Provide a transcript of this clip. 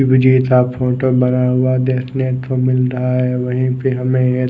का फोटो बना हुआ देखने को मिल रहा है वही पे हमे एक--